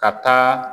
Ka taa